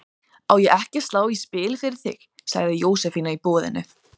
Á ég ekki að slá í spil fyrir þig? sagði Jósefína í boðinu.